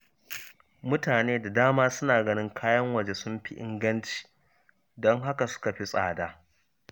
Mutane da dama suna ganin kayan waje sun fi inganci, don haka suka fi tsada